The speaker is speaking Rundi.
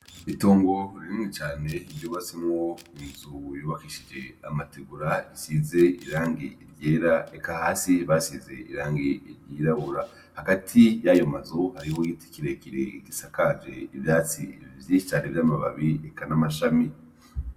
Itongo ririmwi cane iryubasimwo inzu bibakishije amatigura isize irange iryera eka hasi basize irange iryirabura hagati yayo mazuhariho yitikirekire igisa kaje ivyatsi vyicare vy'amababi eka n'amashami.